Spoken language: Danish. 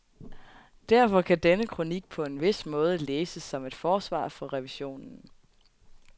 Derfor kan denne kronik på en vis måde læses som et forsvar for revisionen.